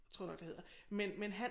Tror jeg nok det hedder men men han